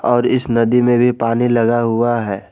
और इस नदी में भी पानी लगा हुआ है।